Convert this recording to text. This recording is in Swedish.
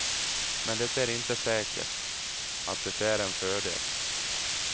Men det är inte säkert, att det är en fördel.